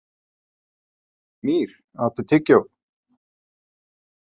Mýr, áttu tyggjó?